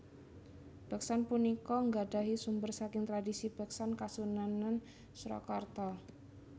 Beksan punika nggadahi sumber saking tradisi beksan Kasunanan Surakarta